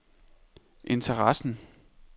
interessen